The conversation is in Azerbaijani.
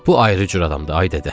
Bu ayrı cür adamdı, ay dədə.